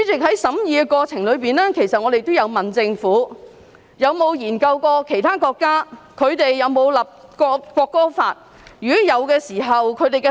在審議過程中，我們曾詢問政府有否研究其他國家有否為國歌法立法？